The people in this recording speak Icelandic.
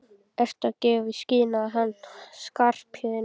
Ertu að gefa í skyn að hann Skarphéðinn.